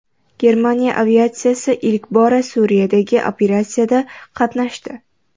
Germaniya aviatsiyasi ilk bora Suriyadagi operatsiyada qatnashdi .